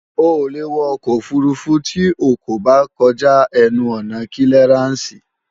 O ò lè wọ ọkọ̀ òfurufú tí o kò bá kọjá ẹnu ọ̀nà kílíarànsì